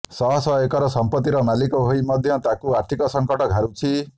ଶହ ଶହ ଏକର ସଂପତ୍ତିର ମାଲିକ ହୋଇ ମଧ୍ୟ ତାଙ୍କୁ ଆର୍ଥିକ ସଂକଟ ଘାରୁଛି